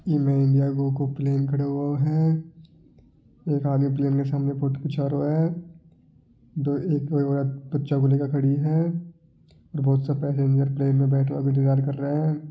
इ में Air India को प्लेन खड़ो है एक आगे के प्लेन के आगे सामे फोटो खींचा रो है एक कोई ओरत बच्चे को लेकर खड़ी है और बहुत सा पैसेंजर भी इंतजार कर रहा है।